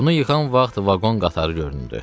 Bunu yıxan vaxt vaqon qatarı göründü.